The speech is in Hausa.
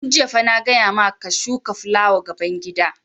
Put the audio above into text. Tun jiya fa na gaya ma ka ka shuka fulawa gaban gida!